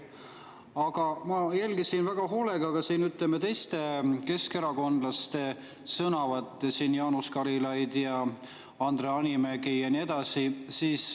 Aga ma jälgisin väga hoolega ka teiste keskerakondlaste sõnavõtte, siin olid Jaanus Karilaid, Andre Hanimägi ja nii edasi.